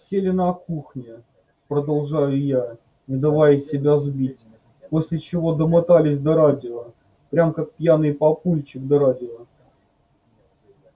сели на кухне продолжаю я не давая себя сбить после чего домотались до радио прям как пьяный папульчик до радио